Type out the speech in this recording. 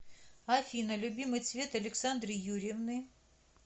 афина любимый цвет александры юрьевны